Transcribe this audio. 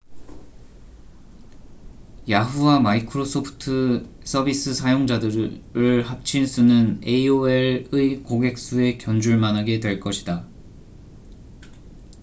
야후!와 마이크로소프트 서비스 사용자들을 합친 수는 aol의 고객 수에 견줄 만하게 될 것이다